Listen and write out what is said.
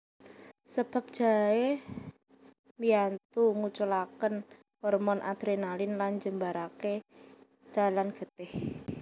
Sebab jaé mbiyantu nguculaken hormon Adrenalin lan njembarake dalan getih